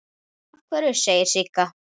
Af hverju, segir Sigga.